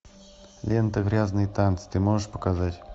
лента грязные танцы ты можешь показать